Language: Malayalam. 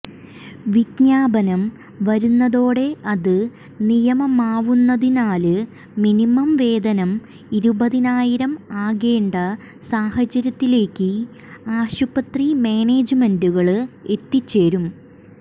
വിജ്ഞാപനം വരുന്നതോടെ അത് നിയമമാവുന്നതിനാല് മിനിമം വേതനം ഇരുപതിനായിരം ആക്കേണ്ട സാഹചര്യത്തിലേക്ക് ആശുപത്രി മാനേജ്മെന്റുകള് എത്തിച്ചേരും